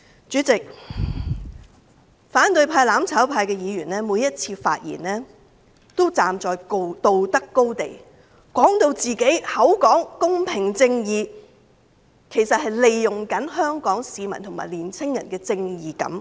主席，反對派、"攬炒派"議員每次發言時也站在道德高地，口講公平正義，其實是利用香港市民和青年人的正義感。